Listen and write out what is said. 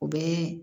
U bɛ